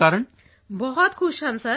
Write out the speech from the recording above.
ਵਰਸ਼ਾ ਭੈਣ ਬਹੁਤਬਹੁਤ ਖੁਸ਼ ਹਨ ਸਰ